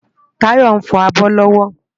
Tayo nfò ábò lòwò